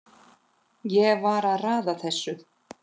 Ég var að raða þessu